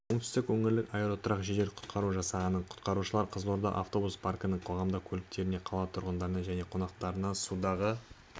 оңтүстік өңірлік аэроұтқыр жедел-құтқару жасағының құтқарушылары қызылорда автобус паркінің қоғамдық көліктеріне қала тұрғындарына және қонақтарына судағы